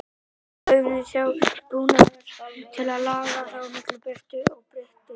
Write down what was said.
Í auganu sjálfu er búnaður til að laga það að mikilli birtu og birtubreytingum.